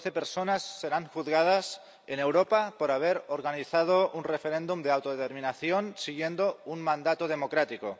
Doce personas serán juzgadas en Europa por haber organizado un referéndum de autodeterminación siguiendo un mandato democrático.